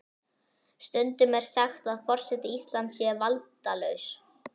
Stundum er sagt að forseti Íslands sé valdalaus.